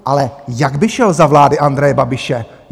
Ale jak by šel za vlády Andreje Babiše?